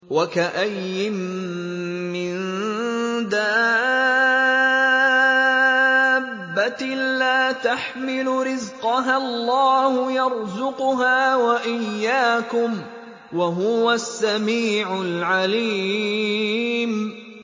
وَكَأَيِّن مِّن دَابَّةٍ لَّا تَحْمِلُ رِزْقَهَا اللَّهُ يَرْزُقُهَا وَإِيَّاكُمْ ۚ وَهُوَ السَّمِيعُ الْعَلِيمُ